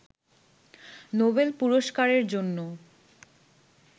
Nobel পুরস্কারের জন্য